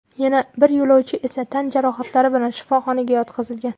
Yana bir yo‘lovchi esa tan jarohatlari bilan shifoxonaga yotqizilgan.